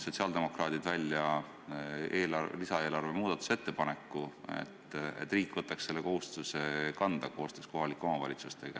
Sotsiaaldemokraadid pakkusid välja lisaeelarve muudatusettepaneku, et riik võtaks selle kohustuse kanda koostöös kohalike omavalitsustega.